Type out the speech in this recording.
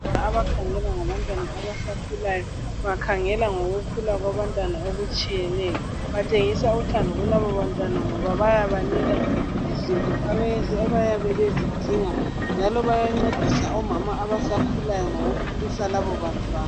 Abakhangela ngabantwana abasakhulayo, bakhangela ngokukhula kwabantwana okutshiyeneyo. Batshengisa uthando kulaba bantwana ngoba bayabanika izinto bayabe bezidinga njalo bayancedisa omama abasakhulayo ngokukhulisa labo bantwana.